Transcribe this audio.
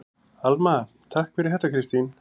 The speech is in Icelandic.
Alma: Takk fyrir þetta Kristín.